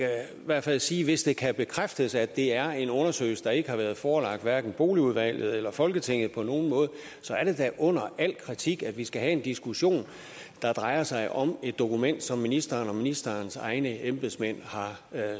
hvert fald sige at hvis det kan bekræftes at det er en undersøgelse der ikke har været forelagt hverken boligudvalget eller folketinget på nogen måde så er det da under al kritik at vi skal have en diskussion der drejer sig om et dokument som ministeren og ministerens egne embedsmænd har